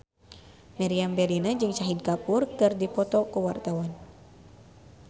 Meriam Bellina jeung Shahid Kapoor keur dipoto ku wartawan